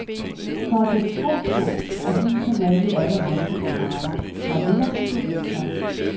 For at sætte trumf på, er husene malet i alle regnbuens farver, fra lilla til rosa.